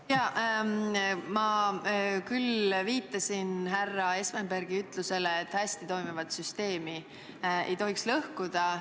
Jah, ma viitasin härra Espenbergi ütlusele, et hästi toimivat süsteemi ei tohiks lõhkuda.